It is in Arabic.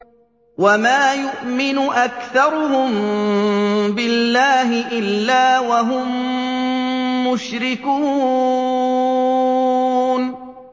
وَمَا يُؤْمِنُ أَكْثَرُهُم بِاللَّهِ إِلَّا وَهُم مُّشْرِكُونَ